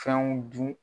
Fɛnw dun